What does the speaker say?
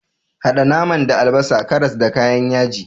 Haɗa naman da albasa, karas, da kayan yaji.